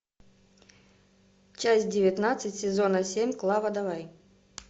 часть девятнадцать сезона семь клава давай